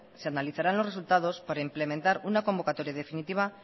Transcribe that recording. se analizarán los resultados para implementar una convocatoria definitiva